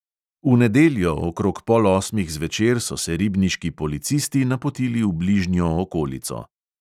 V nedeljo okrog pol osmih zvečer so se ribniški policisti napotili v bližnjo okolico.